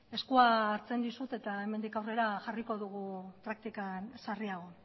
eskua hartzen dizut eta hemendik aurrera jarriko dugu praktikan sarriago